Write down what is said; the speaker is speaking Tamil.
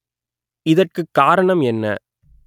இத‌ற்கு காரணம் என்ன